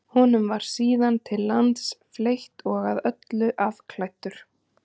Honum var síðan til lands fleytt og að öllu afklæddur.